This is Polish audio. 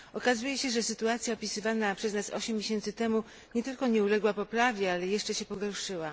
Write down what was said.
Okazuje się, że sytuacja opisywana przez nas osiem miesięcy temu nie tylko nie uległa poprawie, ale jeszcze się pogorszyła.